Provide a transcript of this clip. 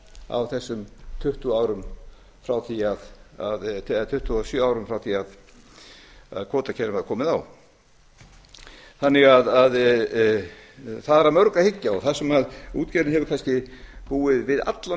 á þessum tuttugu árum eða tuttugu og sjö árum frá því að kvótakerfinu var komið á það er að mörgu að hyggja og það sem útgerðin hefur kannski búið við allan tímann er